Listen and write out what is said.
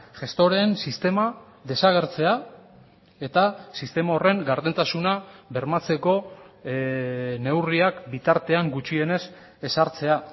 gestoreen sistema desagertzea eta sistema horren gardentasuna bermatzeko neurriak bitartean gutxienez ezartzea